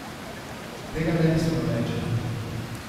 Tega ne bi smel reči.